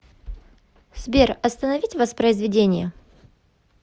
сбер остановить воспоизведение